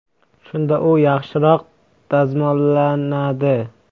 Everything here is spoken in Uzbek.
Shunda u yaxshiroq dazmollanadi.